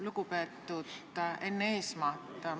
Lugupeetud Enn Eesmaa!